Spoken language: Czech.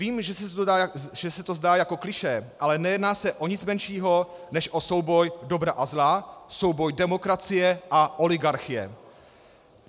Vím, že se to zdá jako klišé, ale nejedná se o nic menšího než o souboj dobra a zla, souboj demokracie a oligarchie.